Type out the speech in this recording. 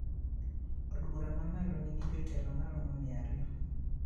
Od bura mamalo nigi jotelo maromo mia ariyo